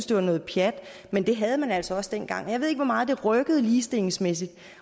det var noget pjat men det havde man altså også dengang jeg ved ikke hvor meget det rykkede ligestillingsmæssigt